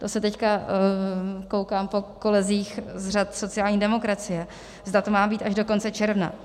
To se teď koukám po kolezích z řad sociální demokracie, zda to má být až do konce června.